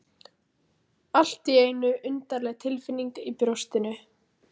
Allt í einu undarleg tilfinning í brjóstinu.